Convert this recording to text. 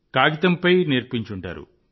కాగితంపై నేర్పించి ఉంటారు